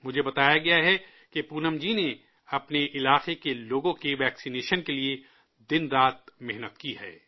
مجھے بتایا گیا ہے کہ پونم جی نے اپنے علاقے کے لوگوں کی ٹیکہ کاری کے لیے دن رات محنت کی ہے